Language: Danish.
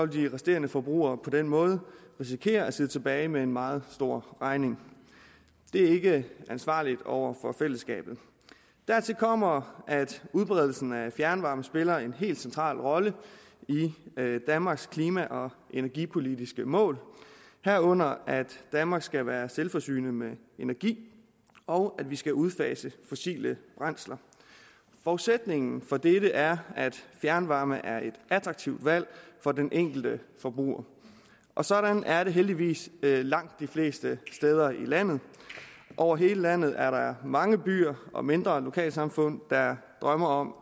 de resterende forbrugere på den måde risikere at sidde tilbage med en meget stor regning det er ikke ansvarligt over for fællesskabet dertil kommer at udbredelsen af fjernvarme spiller en helt central rolle i danmarks klima og energipolitiske mål herunder at danmark skal være selvforsynende med energi og at vi skal udfase fossile brændsler forudsætningen for dette er at fjernvarme er et attraktivt valg for den enkelte forbruger og sådan er det heldigvis langt de fleste steder i landet over hele landet er der mange byer og mindre lokalsamfund der drømmer om